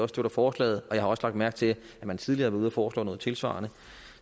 støtter forslaget jeg har også lagt mærke til at man tidligere ude at foreslå noget tilsvarende